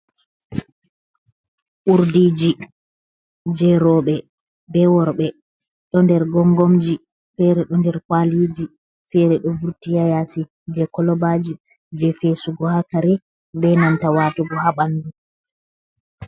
Urdiiji je rooɓe, ɓe worɓe, ɗo nder gonngomji, feere ɗo nder kwaaliiji, feere ɗo vurti haa yaasi je kolobaaji peesugo haa kare, ɓe nanta watugo haa ɓanndu.